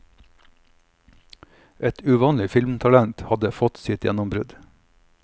Et uvanlig filmtalent hadde fått sitt gjennombrudd.